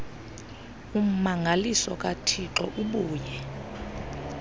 ummangaliso kathixo ubuye